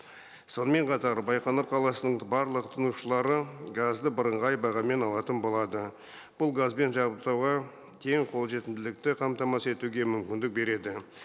сонымен қатар байқоңыр қаласының барлық тұтынушылары газды бірыңғай бағамен алатын болады бұл газбен жабдықтауға тең қолжетімділікті қамтамасыз етуге мүмкіндік береді